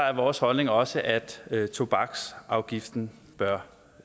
er vores holdning også at at tobaksafgiften bør